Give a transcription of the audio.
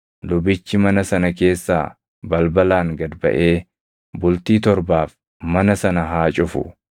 lubichi mana sana keessaa balbalaan gad baʼee bultii torbaaf mana sana haa cufu.